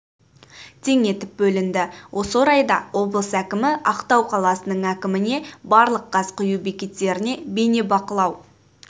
тең етіп бөлінді осы орайда облыс әкімі ақтау қаласының әкіміне барлық газ құю бекеттеріне бейнебақылау